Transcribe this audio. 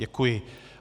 Děkuji.